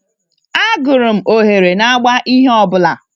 Agụrụ m oghere n'agba ihe ọbụla.